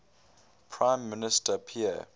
prime minister pierre